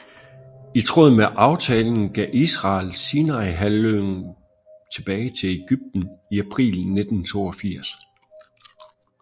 I tråd med aftalen gav Israel Sinaihalvøen tilbage til Egypten i april 1982